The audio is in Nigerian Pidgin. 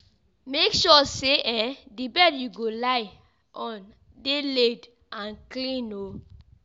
Make sure say um di bed you go lie on de laid and clean